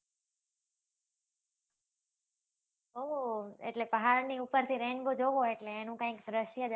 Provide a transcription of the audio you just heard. ઓહો! એટલે પહાડની ઉપરથી rainbow જોવો એટલે એનું કાઈંક દ્રશ્ય જ અલ